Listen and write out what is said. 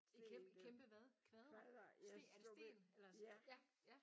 I kæm kæmpe hvad kvadre? Er det sten eller? Ja ja